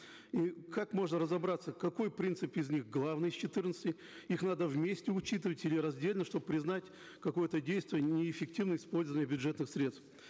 и как можно разобраться какой принцип из них главный из четырнадцати их надо вместе учитывать или раздельно чтобы признать какое то действие неэффективным использованием бюджетных средств